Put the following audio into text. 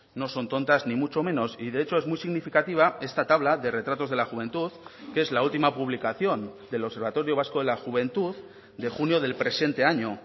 no son tontas ni mucho menos y de hecho es muy significativa esta tabla de retratos de la juventud que es la última publicación del observatorio vasco de la juventud de junio del presente año